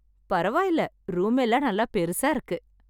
பரவாயில்ல ரூம் எல்லாம் நல்லா பெருசா இருக்கு